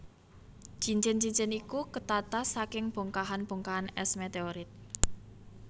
Cincin cincin iku ketata saking bongkahan bongkahan es meteorit